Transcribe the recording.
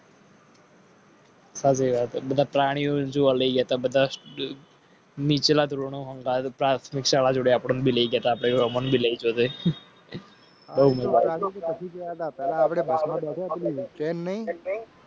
પ્રાણીઓનીચલા ધોરણ પ્રાથમિક શાળા